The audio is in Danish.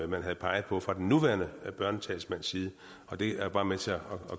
man havde peget på fra den nuværende børnetalsmands side og det er bare med til at